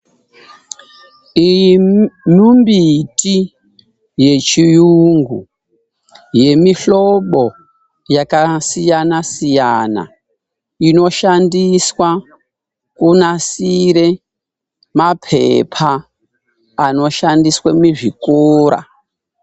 Iyu mimbiti yechiyungu yemuhlobo yakasiyana siyana inoshandiswe kunasire mapaper anoshandiswe muzvikora.